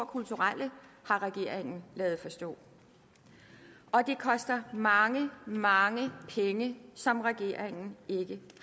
kulturelle har regeringen ladet forstå det koster mange mange penge som regeringen ikke